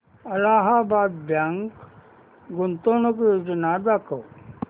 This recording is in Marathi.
अलाहाबाद बँक गुंतवणूक योजना दाखव